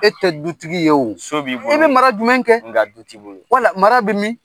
E tɛ dutigi ye o muso b'i bolo i bɛ mara jumɛn kɛ nka du t'i bolo wala mara bɛ min